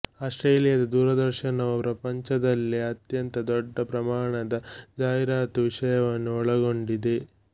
ಆಸ್ಟ್ರೇಲಿಯಾದ ದೂರದರ್ಶನವು ಪ್ರಪಂಚದಲ್ಲೇ ಅತ್ಯಂತ ದೊಡ್ಡ ಪ್ರಮಾಣದ ಜಾಹೀರಾತು ವಿಷಯವನ್ನು ಒಳಗೊಂಡಿದೆ